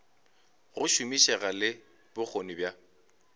go šomišega le bokgoni bja